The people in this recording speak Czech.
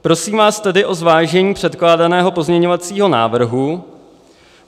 Prosím vás tedy o zvážení předkládaného pozměňovacího návrhu.